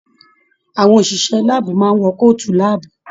Àwọn òṣìṣẹ́ láàbù máa n wọ kootu láàbù.